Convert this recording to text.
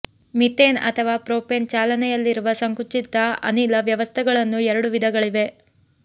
methane ಅಥವಾ propane ಚಾಲನೆಯಲ್ಲಿರುವ ಸಂಕುಚಿತ ಅನಿಲ ವ್ಯವಸ್ಥೆಗಳನ್ನು ಎರಡು ವಿಧಗಳಿವೆ